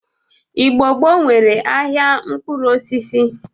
Igbo gboo nwere ahịa mkpụrụosisi.